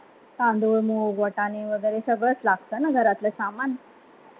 तांदूळ आणि वगैरे सगळं लागताना घरातलं सामान